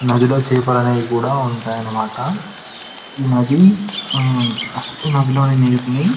నదిలో చేపలు అనేవి కూడా ఉంటాయన్నమాట ఈ నది ఈ నదిలోని నీరుని --